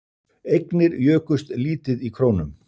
Eignir jukust lítið í krónum